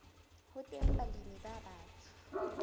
ho teng balemi ba batsho